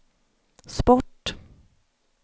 sport